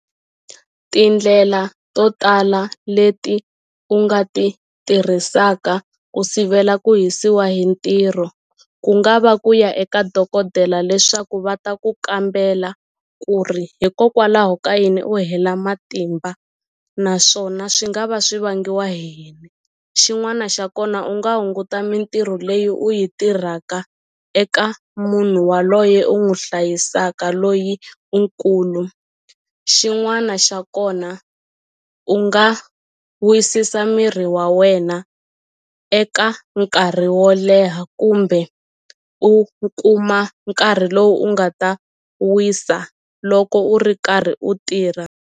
Tindlela to tala leti u nga ti tirhisaka ku sivela ku hisiwa hi ntirho ku nga va ku ya eka dokodela leswaku va ta ku kambela ku ri hikokwalaho ka yini u hela matimba naswona swi nga va swi vangiwa hi yini xin'wana xa kona u nga hunguta mintirho leyi u yi tirhaka eka munhu waloye u n'wu hlayisaka loyi u nkulu xin'wana xa kona u nga wisisa miri wa wena eka nkarhi wo leha kumbe u kuma nkarhi lowu u nga ta wisa loko u ri karhi u tirha.